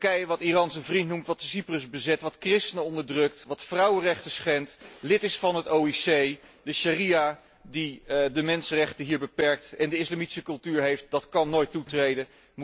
Turkije dat Iran zijn vriend noemt, dat Cyprus bezet, dat christenen onderdrukt, dat vrouwenrechten schendt, lid is van de OIC, de sjaria die de mensenrechten beperkt en de islamitische cultuur heeft, dat kan nooit toetreden.